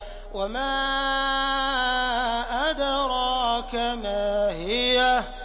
وَمَا أَدْرَاكَ مَا هِيَهْ